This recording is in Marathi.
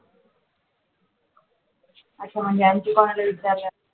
असं म्हणजे आमची